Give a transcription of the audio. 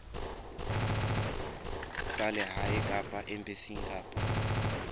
tsa lehae kapa embasing kapa